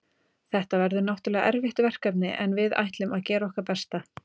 Þetta verður náttúrulega erfitt verkefni en við ætlum að gera okkar besta.